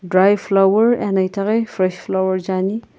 dry flower ena itaghi fresh flower je ani.